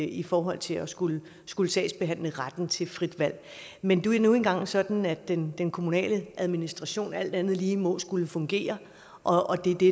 i forhold til at skulle skulle sagsbehandle retten til frit valg men det er nu engang sådan at den den kommunale administration alt andet lige må skulle fungere og det er det